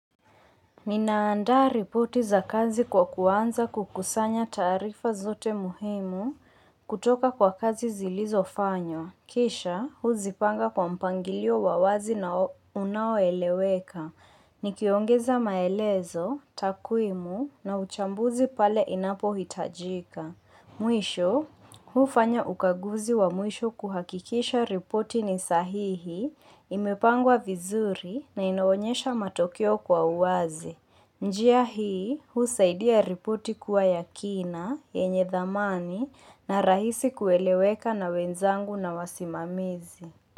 Ninaandaa ripoti za kazi kwa kuanza kukusanya taarifa zote muhimu kutoka kwa kazi zilizofanywa. Kisha, huzipanga kwa mpangilio wa wazi na unaoeleweka. Nikiongeza maelezo, takwimu na uchambuzi pale inapohitajika. Mwisho, hufanya ukaguzi wa mwisho kuhakikisha ripoti ni sahihi, imepangwa vizuri na inaonyesha matokeo kwa uwazi. Njia hii, husaidia ripoti kuwa ya kina, yenye dhamani na rahisi kueleweka na wenzangu na wasimamizi.